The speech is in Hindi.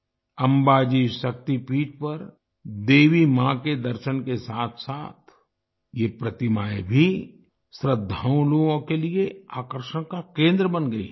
अंबाजी शक्ति पीठ पर देवी मां के दर्शन के साथसाथ ये प्रतिमाएं भी श्रद्धालुओं के लिए आकर्षण का केंद्र बन गई हैं